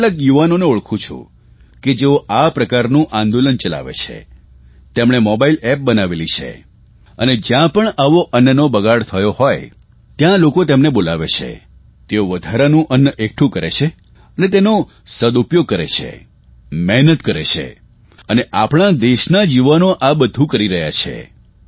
હું કેટલાક યુવાનોને ઓળખું છું કે જેઓ આ પ્રકારનું આંદોલન ચલાવે છે તેમણે મોબાઇલ એપ બનાવેલી છે અને જયાં પણ આવો અન્નનો બગાડ થયો હોય ત્યાં લોકો તેમને બોલાવે છે તેઓ વધારાનું અન્ન એકઠું કરે છે અને તેનો સદઉપયોગ કરે છે મહેનત કરે છે અને આપણાં દેશના જ યુવાનો આ બધું કરી રહ્યા છે